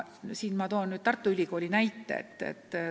Toon teile Tartu Ülikooli näite.